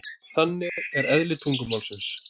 Þannig er eðli tungumálsins.